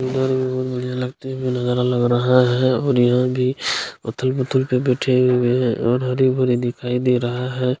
इधर बहुत बढ़िया लगाती हुई नजारा लग रहा है और यह भी पत्थर उथल पे बैठे हुए है और हरे-भरे दिखाए दे रहा हैं।